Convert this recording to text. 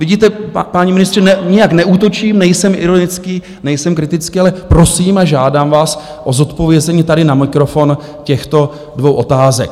Vidíte, páni ministři, nijak neútočím, nejsem ironický, nejsem kritický, ale prosím a žádám vás o zodpovězení tady na mikrofon těchto dvou otázek.